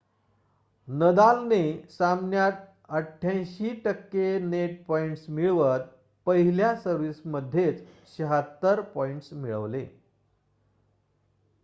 नदालने सामन्यात 88% net points मिळवत पहिल्या सर्व्हिस मध्येच 76 पॉइंट्स मिळवले